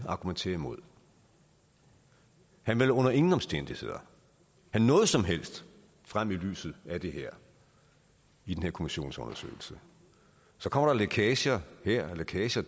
argumenterer imod han vil under ingen omstændigheder have noget som helst frem i lyset af det her i den her kommissionsundersøgelse så kommer der lækager her og lækager